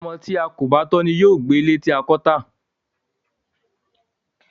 Ọmọ tí a kò kọ́ ni yóò gbé ilé tí a bá kọ́ tà.